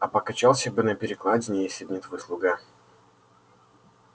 а покачался бы на перекладине если б не твой слуга